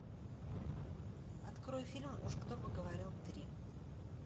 открой фильм уж кто бы говорил три